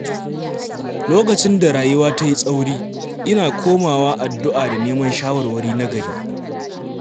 Lokacin da rayuwa ta yi tsauri, ina komawa addu’a da neman shawarwari nagari.